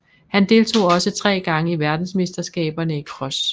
Han deltog også tre gange i verdensmesterskaberne i cross